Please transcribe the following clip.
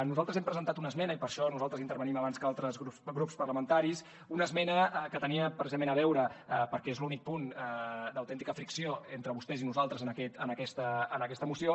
nosaltres hem presentat una esmena i per això nosaltres intervenim abans que altres grups parlamentaris una esmena que tenia precisament a veure perquè és l’únic punt d’autèntica fricció entre vostès i nosaltres en aquesta moció